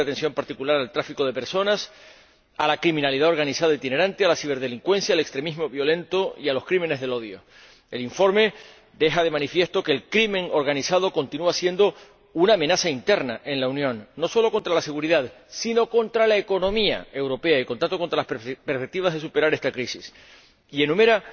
se presta atención particular al tráfico de personas, a la criminalidad organizada itinerante, a la ciberdelincuencia, al extremismo violento y a los crímenes de odio. El informe pone de manifiesto que el crimen organizado continúa siendo una amenaza interna en la Unión, no solo contra la seguridad, sino también contra la economía europea y, por tanto, contra las perspectivas de superar esta crisis, y enumera